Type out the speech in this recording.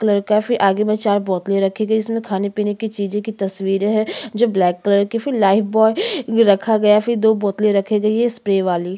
colour है फिर आगे में चार बोतले रखी गई जिसमे खाने-पिने की चीजे की तस्वीरें है ब्लैक कलर की फिर लाइफबॉय रखा गया है फिर दो बोतले रखी गई है स्प्रे वाली--